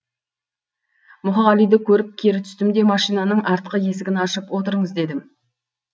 мұқағалиды көріп кері түстім де машинаның артқы есігін ашып отырыңыз дедім